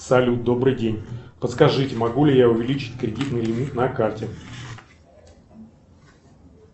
салют добрый день подскажите могу ли я увеличить кредитный лимит на карте